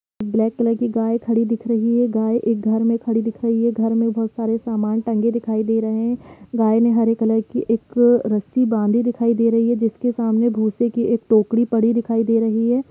Black colour की गाय खड़ी दिख रही है गाय एक घर में खड़ी दिख रही है घर में बहुत सारे सामान टंगे दिखाई दे रहे है गाय ने एक हरे कलर की एक रस्सी बांधी दिखाई दे रही है जिसके सामने भूसे की एक टोकरी पड़ी दिखाई दे रही है।